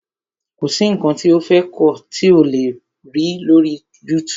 Kọ̀ sí nǹkan tí o fẹ́ kọ́ tí ò le kó lọ́rí YouTube.